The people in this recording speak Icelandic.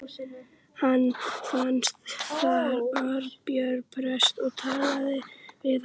Fann hann þar Arnbjörn prest og talaði við hann.